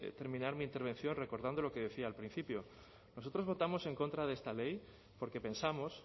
terminar mi intervención recordando lo que decía al principio nosotros votamos en contra de esta ley porque pensamos